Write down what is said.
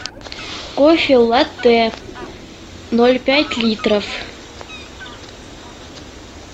кофе латте ноль пять литров